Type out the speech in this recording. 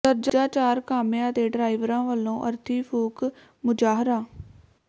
ਦਰਜਾ ਚਾਰ ਕਾਮਿਆਂ ਤੇ ਡਰਾਈਵਰਾਂ ਵੱਲੋਂ ਅਰਥੀ ਫੂਕ ਮੁਜ਼ਾਹਰਾ